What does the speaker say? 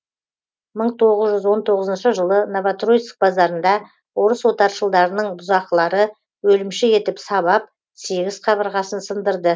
мың тоғыз жүз он тоғызыншы жылы новотроицк базарында орыс отаршылдарының бұзақылары өлімші етіп сабап сегіз қабырғасын сындырды